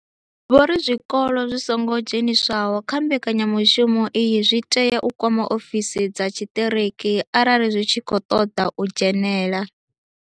Vho ri zwikolo zwi songo dzheniswaho kha mbekanyamushumo iyi zwi tea u kwama ofisi dza tshiṱiriki arali zwi tshi khou ṱoḓa u dzhenela.